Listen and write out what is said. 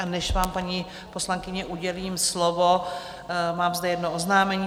A než vám, paní poslankyně, udělím slovo, mám zde jedno oznámení.